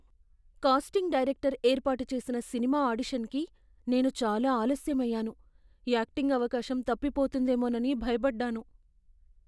Casting director ఏర్పాటు చేసిన cinema ఆడిషన్కి నేను చాలా ఆలస్యం అయ్యాను, యాక్టింగ్ అవకాశం తప్పిపోతుందేమోనని భయపడ్డాను.